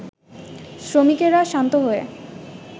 শ্রমিকেরা শান্ত হয়ে